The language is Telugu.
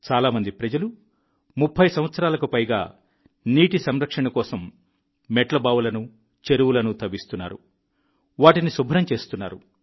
చాలా మంది ప్రజలు 3030 సంవత్సరాలుగా నీటి సంరక్షణ కోసం మెట్ల బావులను చెరువులను తవ్విస్తున్నారు వాటిని శుభ్రం చేస్తున్నారు